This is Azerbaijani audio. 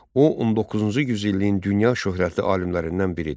O 19-cu yüzilliyin dünya şöhrətli alimlərindən biridir.